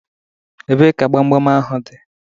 Ebee ka gbam gbam ahụ dị?